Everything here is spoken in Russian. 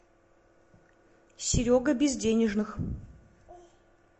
серега безденежных